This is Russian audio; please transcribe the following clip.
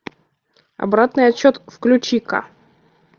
обратный отсчет включи ка